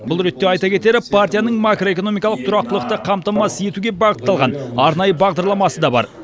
бұл ретте айта кетері партияның макроэкономикалық тұрақтылықты қамтамасыз етуге бағытталған арнайы бағдарламасы да бар